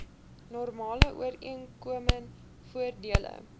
normale ooreengekome voordele